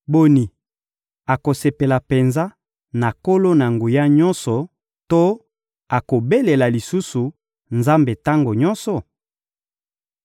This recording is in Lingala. Boni, akosepela penza na Nkolo-Na-Nguya-Nyonso to akobelela lisusu Nzambe tango nyonso?